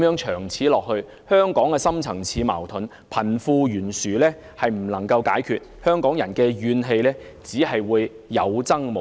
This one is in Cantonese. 長此下去，香港的深層次矛盾、貧富懸殊不能解決，香港人的怨氣只會有增無減。